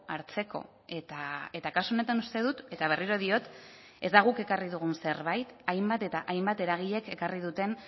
hartzeko eta kasu honetan uste dut eta berriro diot ez da guk ekarri dugun zerbait hainbat eta hainbat eragilek ekarri duten